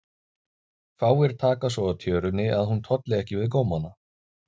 Fáir taka svo á tjörunni að hún tolli ekki við gómana.